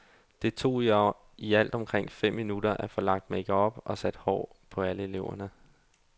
Det tog i alt omkring fem timer at få lagt makeup og sat hår på alle eleverne.